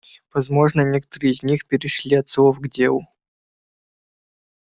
возможно некоторые из них перешли от слов к делу